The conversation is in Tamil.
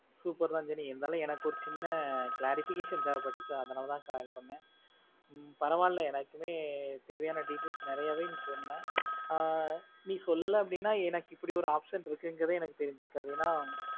super தான் இனி இருந்தாலும் எனக்கு ஒரு சின்ன clarification தேவைப்பட்டது அதனாலதான் சொன்னேன் உம் பரவால்ல எனக்குமே தேவையான details நிறையவே நீ சொன்ன ஆஹ் நீ சொல்லல அப்படின்னா எனக்கு இப்படி ஒரு option இருக்குன்றதே எனக்கு தெரிஞ்சிருக்காது ஏன்னா